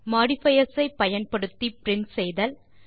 modifiers ஐ பயன்படுத்தி print செய்தல்